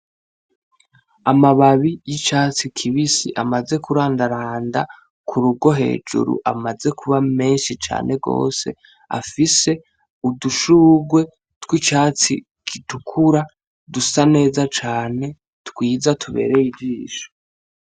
Amababi y'icatsi kibisi amaze kurandaranda k'urugo hejuru amaze kuba menshi cane gose afise udushurwe tw'icatsi gitukura dusa neza cane twiza tubereye ijisho.